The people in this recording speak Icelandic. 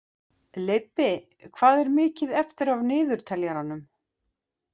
Leibbi, hvað er mikið eftir af niðurteljaranum?